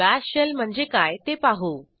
bash shell म्हणजे काय ते पाहू